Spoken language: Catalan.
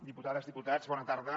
diputades diputats bona tarda